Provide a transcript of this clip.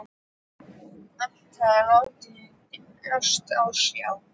Allt hafði látið dálítið á sjá.